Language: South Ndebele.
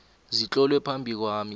zitlolwe phambi kwami